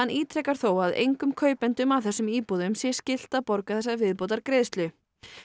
ítrekar þó að engum kaupendum að þessum íbúðum sé skylt að borga þessa viðbótargreiðslu